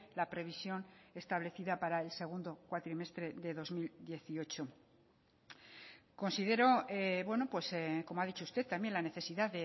la previsión establecida para el segundo cuatrimestre de dos mil dieciocho considero como ha dicho usted también la necesidad